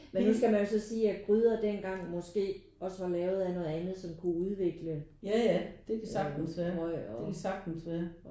Men nu skal man jo så sige at gryder dengang måske også var lavet af noget andet som kunne udvikle alt mulig røg og